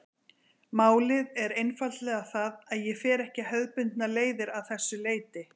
Málið er einfaldlega það að ég fer ekki hefðbundnar leiðir að þessu leyti.